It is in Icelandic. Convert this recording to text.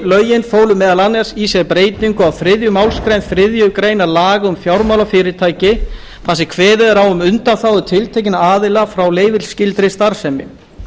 lögin fólu meðal annars í sér breytingu á þriðju málsgrein þriðju grein laga um fjármálafyrirtæki þar sem kveðið er á um undanþágu tiltekinna aðila frá leyfisskyldri starfsemi